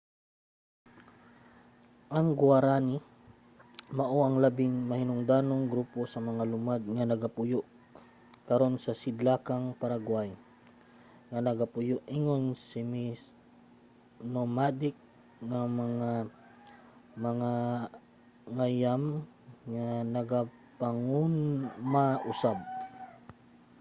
ang guaraní mao ang labing mahinungdanong grupo sa mga lumad nga nagapuyo karon sa sidlakang paraguay nga nagapuyo ingon mga semi-nomadic nga mga mangangayam nga nagapanguma usab